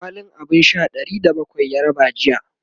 kwalin abun Sha Ɗari da bakwai ya raba jiya